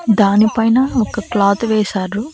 దానిపైన ఒక క్లాత్ వేశారు.